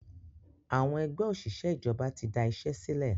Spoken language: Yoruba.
Àwọn Ẹgbẹ́ òṣìṣẹ́ ìjọba tí da iṣẹ́ sílẹ̀.